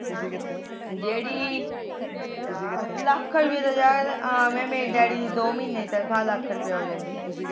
ਲੱਖ ਰੁਪੀਆਂ ਤਾ ਯਾਰ ਆਮੇ ਮੇਰੇ ਡੇਡੀ ਦੀ ਤਨਖਾਹ ਦੋ ਮਹੀਨੇ ਦੀ ਲੱਖ ਰੁਪੀਆਂ ਹੋ ਜਾਂਦੀ